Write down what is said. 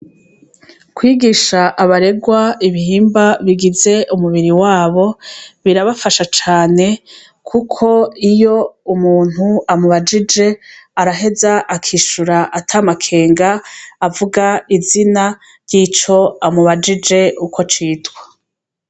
Kwigisha abaregwa ibihimba bigize umubiri wabo, birabafasha cane kuko iyo umuntu amubajije, araheza akishura atamakenga, avuga izina ry'ico amubajije uko citwa.